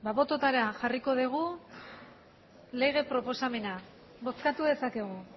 botoetara jarriko dugu lege proposamena bozkatu dezakegu